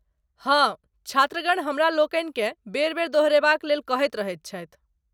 हाँ, छात्रगण हमरालोकनिकेँ बेर बेर दोहरयबाक लेल कहैत रहैत छथि।